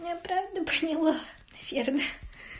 ты меня правильно поняла наверное